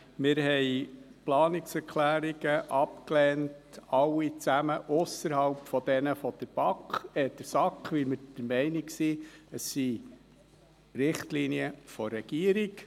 Wir haben alle Planungserklärungen ausser jene der SAK abgelehnt, weil wir der Meinung sind, es seien Richtlinien der Regierung.